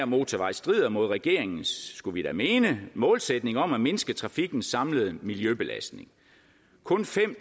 motorvej strider mod regeringens skulle vi da mene målsætning om at mindske trafikkens samlede miljøbelastning kun fem